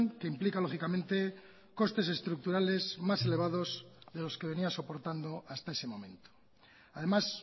que implica lógicamente costes estructurales más elevados de los que venía soportando hasta ese momento además